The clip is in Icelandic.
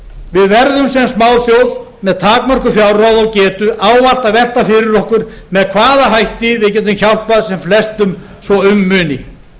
við verðum sem smáþjóð með takmörkuð fjárráð og getu ávallt að velta fyrir okkur með hvaða hætti við getum hjálpað sem flestum svo um muni